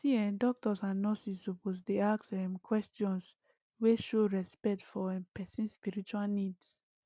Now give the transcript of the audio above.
see[um]doctors and nurses suppose dey ask um questions wey show respect for um person spiritual needs